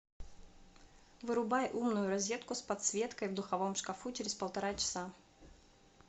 вырубай умную розетку с подсветкой в духовом шкафу через полтора часа